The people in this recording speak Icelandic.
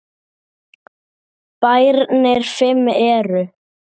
Bæirnir fimm eru